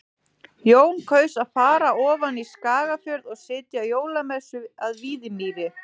Jón kaus að fara ofan í Skagafjörð og sitja jólamessu að Víðimýri.